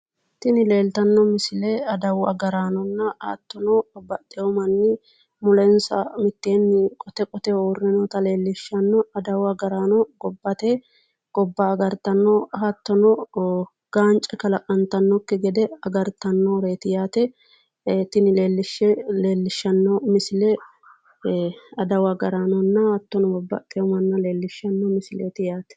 Tini leeltanno misile adawu agaraanonna hattono babbaxxeewo manni mulensa qote qoteho uurre noota leellishshano adawu agaraano gobba agartanno hattono gaance kalaqqantannokki gede agartannoreeti yaate tini leellishshanno misile adawu agaraanonna babbaxxeewo manna leellishshanno misileeti yaate.